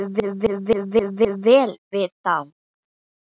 Kunnum við vel við þá?